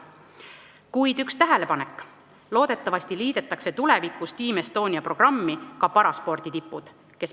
Mul on ka üks tähelepanek: loodetavasti liidetakse tulevikus Team Estonia programmiga ka paraspordi tipud.